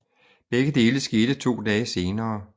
Begge dele skete to dage senere